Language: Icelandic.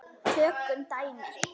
Tökum dæmi: